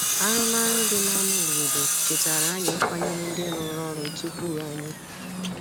Arụmarụ dị n’ámá obodo chetara anyị ịkwanyere ndị rụrụ ọrụ tupu anyị.